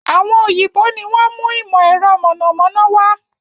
Àwọn òyìnbó ni wọn mú ìmọ̀ ẹ̀rọ mọ̀nàmọ́ná wá